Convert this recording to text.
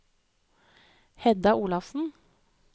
Hedda Olafsen